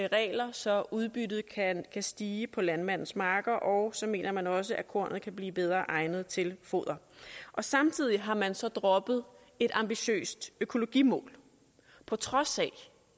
så udbyttet kan stige på landmandens marker og så mener man også at kornet kan blive bedre egnet til foder samtidig har man så droppet et ambitiøst økologimål på trods af